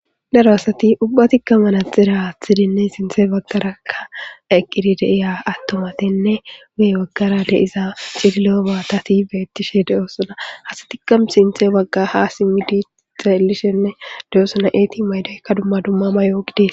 daro asati ubba tikka manaxira athidinne sinthe baggaraakka eqqidi deiya attomatinne wue waggara deiza cililo baatati beettishe deoosana hastikkam sinthe wagga ha simmidi xeelishenne deoosona eeti maydaykka dumma dumma ma yoogidees